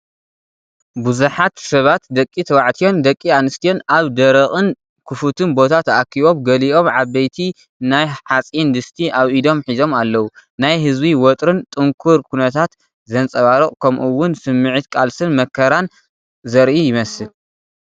ብዙሓት ሰባት ደቂ ተባዕትዮን ደቂ ኣንስትዮን ኣብ ደረቕን ክፉትን ቦታ ተኣኪቦም፣ ገሊኦም ዓበይቲ ናይ ሓጺን ድስቲ ኣብ ኢዶም ሒዞም ኣለዉ። ናይ ህዝቢ ወጥሪን ጽንኩርን ኩነታት ዘንጸባርቕ ከምኡውን ስምዒት ቃልስን መከራን ዘርኢ ይመስል።